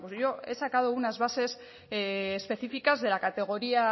bueno pues yo he sacado